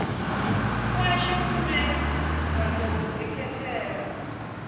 kwashu kune ra tou ḓikhethela